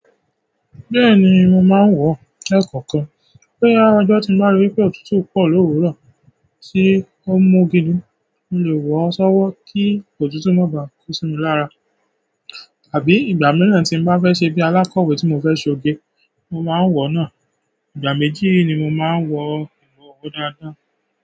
Bẹ́ẹ̀ni, mo máa ń wo. Le kan kan, pé àjọ̀jọ̀ ti máa ń rí pé òtútù pọ̀ lówuro tí ó mu gidi, mo lè wọ̀ ọ́ ṣọ́wọ́ kí òtútù má bàá ko sí mi lára. Àbí ìgbà mìíràn tí n bá fẹ́ ṣe bí i alákọ̀wé tí mo fẹ́ ṣe óge, mo máa ń wọ̀ náà. Ìgbà mẹ́ji ni mo máa ń wọ ìwọ̀ wo dáadáa.